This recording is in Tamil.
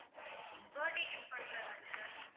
birthday gift பண்ற மாதிரி sir